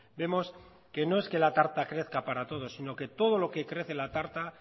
vemos que no es que la tarta crezca para todos sino que todo lo que crece la tarta